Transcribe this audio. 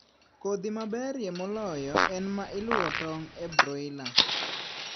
Kodhi maberie moloyo en ma iluo tong' en broiler.